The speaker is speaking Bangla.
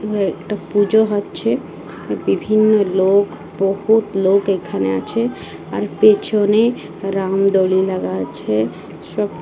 উ একটা পুজো হচ্ছে বিভিন্ন লোক বহুত লোক এখানে আছে আর পেছনে রাম লাগা আছে সব--